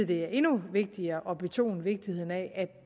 det er endnu vigtigere at betone vigtigheden af at